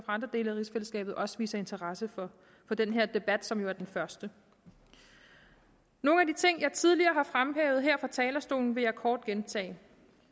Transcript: andre dele af rigsfællesskabet også viser interesse for den her debat som jo er den første nogle af de ting jeg tidligere har fremhævet her fra talerstolen vil jeg kort gentage